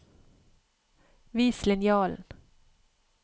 Vis linjalen